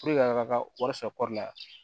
a ka wari sɔrɔ la